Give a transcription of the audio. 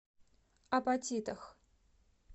апатитах